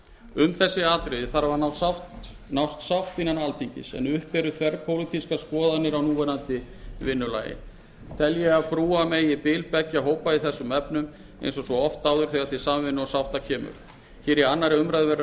um þessi atriði þarf að nást sátt innan alþingis en uppi eru þverpólitískar skoðanir á núverandi vinnulagi tel ég að brúa megi bil beggja hópa í þessum efnum eins og svo oft áður þegar til samvinnu og sátta kemur hér við aðra umræðu verður ekki